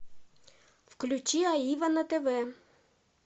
включи аива на тв